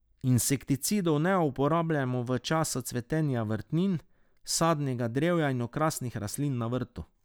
Insekticidov ne uporabljamo v času cvetenja vrtnin, sadnega drevja in okrasnih rastlin na vrtu.